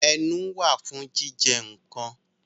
Ẹnu wà fún jíjẹ nǹkan